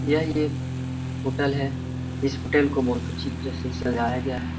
यह एक होटल है इस होटल को बहुत अच्छी तरह से सजाया गया है।